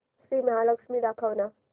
श्री महालक्ष्मी दाखव ना